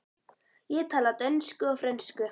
Ég tala dönsku og frönsku.